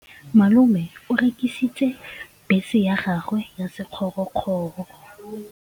Malome o rekisitse bese ya gagwe ya sekgorokgoro.